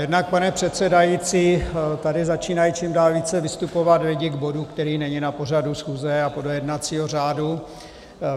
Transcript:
Jednak, pane předsedající, tady začínají čím dál více vystupovat lidi k bodu, který není na pořadu schůze a podle jednacího řádu.